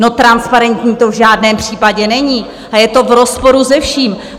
No, transparentní to v žádném případě není a je to v rozporu se vším.